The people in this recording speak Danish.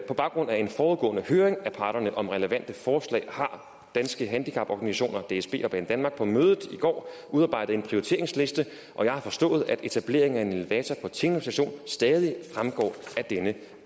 på baggrund af en forudgående høring af parterne om relevante forslag har danske handicaporganisationer dsb og banedanmark på mødet i går udarbejdet en prioriteringsliste og jeg har forstået at etableringen af en elevator på tinglev station stadig fremgår af denne